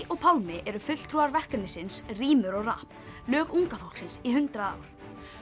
og Pálmi eru fulltrúar verkefnisins rímur og rapp lög unga fólksins í hundrað ár